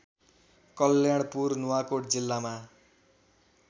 कल्याणपुर नुवाकोट जिल्लामा